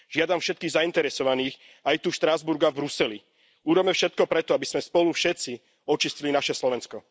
Žiadam všetkých zainteresovaných aj tu v Štrasburgu a Bruseli, urobme všetko preto, aby sme spolu všetci očistili naše Slovensko.